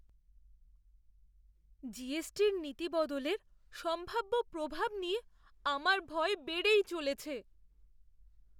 জিএসটির নীতি বদলের সম্ভাব্য প্রভাব নিয়ে আমার ভয় বেড়েই চলেছে।